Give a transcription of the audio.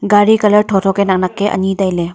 gaari colour tho tho ke nak nak ke ani tai ley.